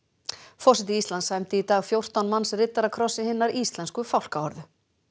forseti Íslands sæmdi í dag fjórtán manns riddarakrossi hinnar íslensku fálkaorðu